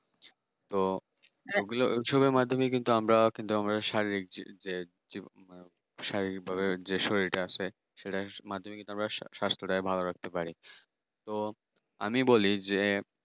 তো এগুলো এসবের মাধ্যমে আমরা কিন্তু আমরা কিন্তু আমরা শারীরিক যে শারীরিকভাবে যেই শরীরটা আছে সেটার মাধ্যমেই আমরা স্বাস্থ্য টাকে ভালো রাখতে পারি। তো আমি বলি যে